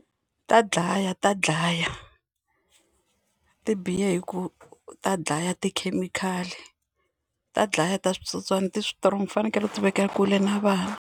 Ta dlaya ta dlaya ti biha hi ku ta dlaya tikhemikhali ta dlaya ta switsotswana ti strong ti fanekele ti vekewa kule na vana.